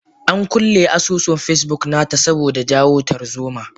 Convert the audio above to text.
Ankulle asusun Facebook nata saboda jawo tarzoma.